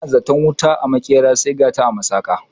Ana zaton wuta a maƙera sai gata a masaƙa